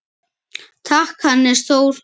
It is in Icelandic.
Takk, Hannes Þór.